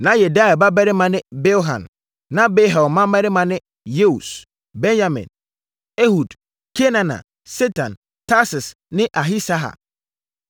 Na Yediael babarima ne: Bilhan. Na Bilhan mmammarima ne: Yeus, Benyamin, Ehud, Kenaana, Setan, Tarsis ne Ahisahar.